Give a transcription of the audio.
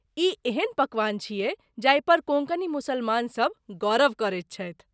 ई एहन पकवान छियै जाहि पर कोंकणी मुसलमानसभ गौरव करैत छथि।